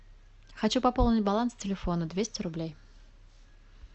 хочу пополнить баланс телефона двести рублей